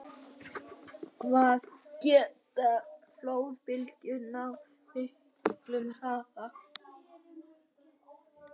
Hvað geta flóðbylgjur náð miklum hraða?